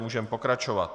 Můžeme pokračovat.